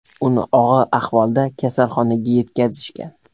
Uni og‘ir ahvolda kasalxonaga yetkazishgan.